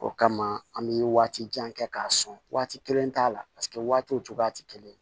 O kama an bi waati jan kɛ k'a sɔn waati kelen t'a la paseke waatiw cogoya ti kelen ye